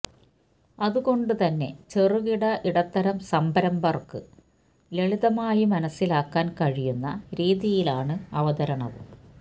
അത് കൊണ്ട് തന്നെ ചെറുകിട ഇടത്തരം സംരംഭകര്ക്ക് ലളിതമായി മനസ്സിലാക്കാന് കഴിയുന്ന രീതിയിലാണ് അവതരണവും